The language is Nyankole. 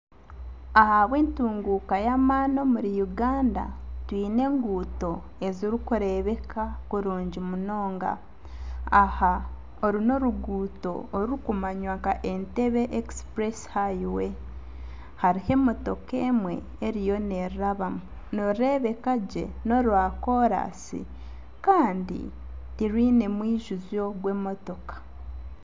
Ahabw'entunguuka y'amaani omuri Uganda twiine enguuto ezirikureebeka kurungi munonga aha oru n'oruguuto orukumanywa nka Entebbe express highway hariho emotooka emwe eriyo nerurabamu, nirureebeka gye norwa koransi kandi tirwiine mwijuuzo gw'emotooka.